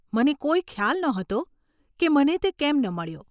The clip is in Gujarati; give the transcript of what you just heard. મને કોઈ ખ્યાલ નહોતો કે મને તે કેમ ન મળ્યો.